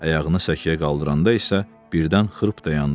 Ayağını səkiyə qaldıranda isə birdən xırp dayandı.